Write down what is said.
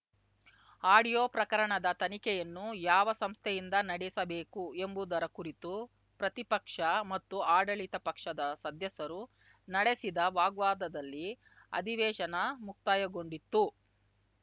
audio ಪ್ರಕರಣದ ತನಿಖೆಯನ್ನು ಯಾವ ಸಂಸ್ಥೆಯಿಂದ ನಡೆಸಬೇಕು ಎಂಬುದರ ಕುರಿತು ಪ್ರತಿಪಕ್ಷ ಮತ್ತು ಆಡಳಿತ ಪಕ್ಷದ ಸದಸ್ಯರು ನಡೆಸಿದ ವಾಗ್ವಾದದಲ್ಲಿ ಅಧಿವೇಶನ ಮುಕ್ತಾಯಗೊಂಡಿತ್ತು